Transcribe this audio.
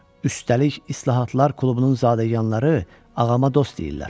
Üstəlik, İslahatlar klubunun zadəganları ağıma dost deyirlər.